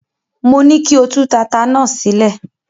Mo ní kí o tú tata náà sílẹ̀.